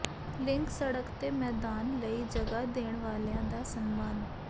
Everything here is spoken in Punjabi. ਲਿੰਕ ਸੜਕ ਤੇ ਮੈਦਾਨ ਲਈ ਜਗ੍ਹਾ ਦੇਣ ਵਾਲਿਆਂ ਦਾ ਸਨਮਾਨ